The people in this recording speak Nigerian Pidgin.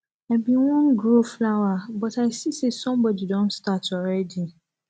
i bin wan grow flower but i see say somebody don start already